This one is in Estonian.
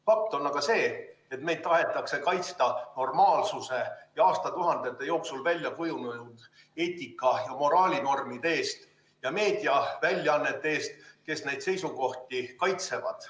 Fakt on aga see, et meid tahetakse kaitsta normaalsuse ja aastatuhandete jooksul välja kujunenud eetika- ja moraalinormide eest ja meediaväljaannete eest, kes neid seisukohti kaitsevad.